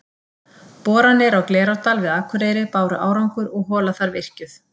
Boranir á Glerárdal við Akureyri báru árangur og hola þar virkjuð.